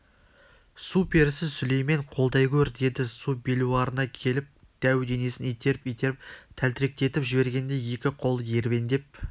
су перісі сүлеймен қолдай гөр деді су белуарына келіп дәу денесін итеріп-итеріп тәлтіректетіп жібергенде екі қолы ербеңдеп